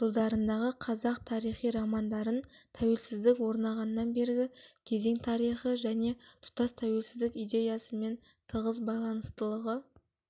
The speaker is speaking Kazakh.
жылдарындағы қазақ тарихи романдарын тәуелсіздік орнағаннан бергі кезең тарихы және тұтас тәуелсіздік идеясымен тығыз байланыстылығы